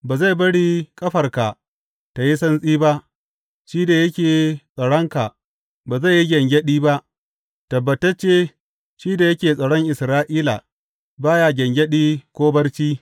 Ba zai bari ƙafarka tă yi santsi ba, shi da yake tsaronka ba zai yi gyangyaɗi ba; tabbatacce, shi da yake tsaron Isra’ila ba ya gyangyaɗi ko barci.